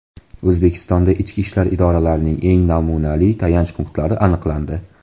O‘zbekistonda ichki ishlar idoralarining eng namunali tayanch punktlari aniqlandi.